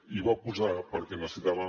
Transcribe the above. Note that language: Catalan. i va posar perquè necessitava